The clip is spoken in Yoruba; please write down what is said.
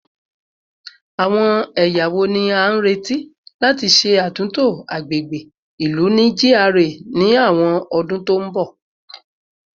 Awọn ẹya wo ni a nireti lati ṣe atunto agbegbe ilu ni GRA ni awọn ọdun to n bọ?